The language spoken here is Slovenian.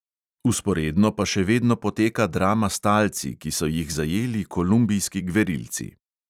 Vzporedno pa še vedno poteka drama s talci, ki so jih zajeli kolumbijski gverilci.